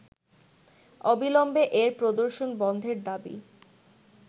অবিলম্বে এর প্রদর্শন বন্ধের দাবি